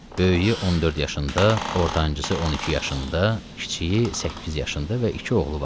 Böyüyü 14 yaşında, ortancısı 12 yaşında, kiçiyi 8 yaşında və iki oğlu var idi.